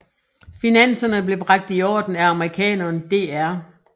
Finanserne blev bragt i orden af amerikaneren dr